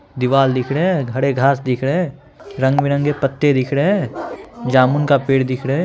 दीवाल दिख रहे हैं हरे घास दिख रहे हैं | रंग बिरंगे पत्ते दिख रहे हैं जामुन का पेड़ दिख रहे हैं ।